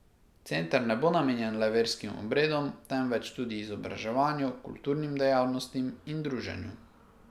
Center ne bo namenjen le verskim obredom, temveč tudi izobraževanju, kulturnim dejavnostim in druženju.